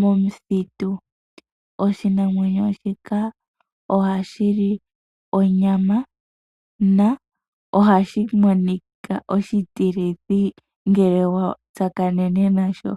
momuthitu. Oshinamwenyo shika oha shi li onyama, na ohashi monika oshitilithi ngele wa tsakanene nasho.